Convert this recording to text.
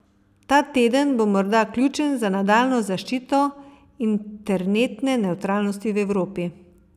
Ta teden bo morda ključen za nadaljnjo zaščito internetne nevtralnosti v Evropi.